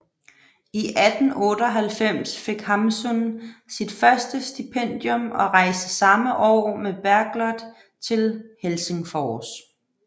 I 1898 fik Hamsun sit første stipendium og rejste samme år med Bergljot til Helsingfors